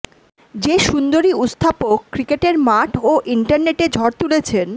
যে সুন্দরী উস্থাপক ক্রিকেটের মাঠ ও ইন্টারনেটে ঝড় তুলেছেন